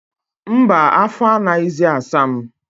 Mba, afọ anaghịzi asa m.